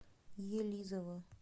елизово